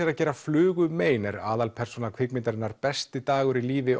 að gera flugu mein er aðalpersóna kvikmyndarinnar besti dagur í lífi